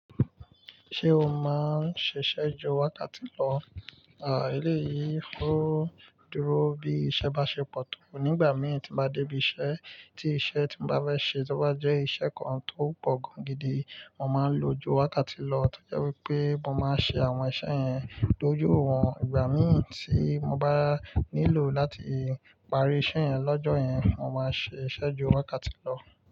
Ṣé o máa ń ṣiṣẹ́ ju wákàtí lọ? À, eléyìí oo dúró bí iṣẹ́ bá ṣe pọ̀ tó. Nígbà mi tí n bá dé ibi iṣẹ́ tí iṣẹ́ tí mo bá fẹ́ ṣe bá jẹ́ iṣẹ́ kan tó pọ̀ gan gidi, mo máa ń lo ju wákàtí lọ. Tọ́jẹ wípé mo máa ń ṣe àwọn iṣẹ́ yẹn tojohun. Ìgbà mìíràn tí mo bá nílò láti parí iṣẹ́ yẹn lọ́jọ́ yẹn, mo máa ṣe iṣẹ́ ju wákàtí lọ.